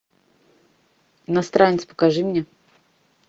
иностранец покажи мне